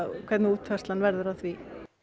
hvernig útfærslan verður á því